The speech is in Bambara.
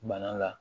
Bana la